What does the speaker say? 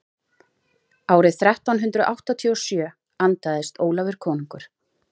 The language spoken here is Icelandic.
árið þrettán hundrað áttatíu og sjö andaðist ólafur konungur